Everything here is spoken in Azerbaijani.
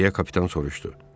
deyə kapitan soruşdu.